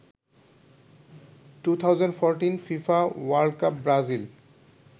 2014 fifa world cup Brazil